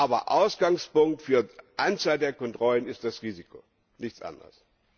Aber Ausgangspunkt für die Anzahl der Kontrollen ist das Risiko, nichts anderes.